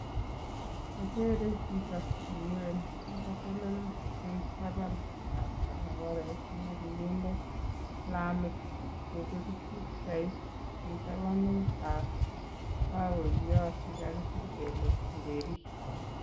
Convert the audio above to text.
Akere chito nemuren nekatelel eng tapan ap barabaret nekikinde lamit akopir pkichait eng tabanutap paoiyot nekakisir kele Njeri.